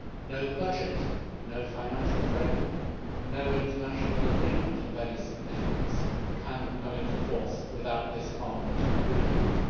No budget, no financial framework, no international agreement of any significance can come into force without this Parliament approving it.